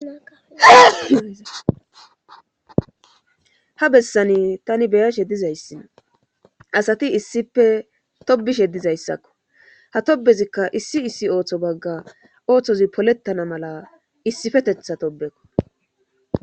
aha bessani tani beya she dizayssinna asati issife tobishe dizayssakko ha tobezikka issi issi ooththo bagga ooththozi polettana mala issifetetha tobekko